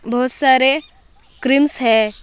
बहुत सारे क्रीम्स है।